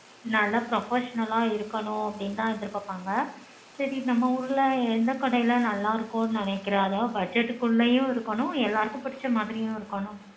நல்லா professional ஆ தா இருக்கணும்னு எதிர்பாப்பாங்க சேரி நம்ம ஊர்ல எந்த கடைல எந்த கடைல நல்ல இருக்கும்னு நெனைக்குற but budget குள்ளேயும் இருக்கணும் எல்லாருக்கும் புடிச்ச மாதிரியும் இருக்கணும்